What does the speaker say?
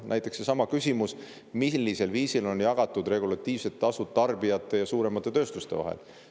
Näiteks ka seesama küsimus, millisel viisil on jagatud regulatiivsed tasud tarbijate ja suuremate tööstuste vahel.